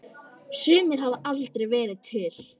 Sumir hafa aldrei verið til.